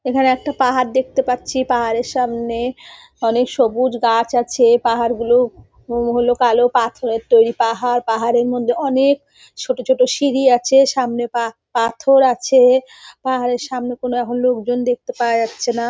এখানেএকটা পাহাড় দেখতে পাচ্ছি পাহাড়ের সামনে অনেক সবুজ গাছ আছে । পাহাড়গুলো হল কালো পাথরের তৈরি পাহাড় পাহাড়ের মধ্যে অনেক ছোট ছোট সিঁড়ি আছে সামনে পা পাথর আছে । পাহাড়ের সামনে কোনও এখন লোকজন দেখতে পাওয়া যাচ্ছেনা ।